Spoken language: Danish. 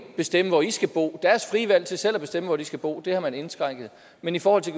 bestemme hvor de skal bo deres frie valg til selv at bestemme hvor de skal bo har man indskrænket men i forhold til